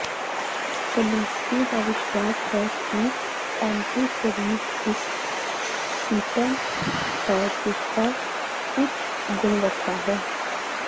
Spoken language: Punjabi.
ਫਲਿਸਤੀ ਦਾ ਵਿਸ਼ਵਾਸ ਹੈ ਕਿ ਐਂਟੀਫਰੀਜ਼ ਇਕ ਸ਼ੀਟੈਂਟ ਹੈ ਜਿਸਦਾ ਉੱਚ ਗੁਣਵੱਤਾ ਹੈ